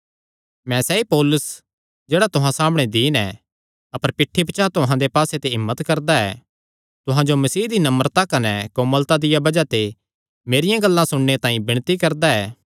मैं सैई पौलुस जेह्ड़ा तुहां सामणै दीन ऐ अपर पिठ्ठी पचांह़ तुहां दे पास्से हिम्मत करदा ऐ तुहां जो मसीह दी नम्रता कने कोमलता दिया बज़ाह ते मेरियां गल्लां सुणने तांई विणती करदा ऐ